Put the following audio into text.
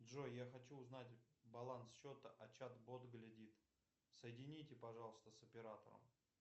джой я хочу узнать баланс счета а чат бот глядит соедините пожалуйста с оператором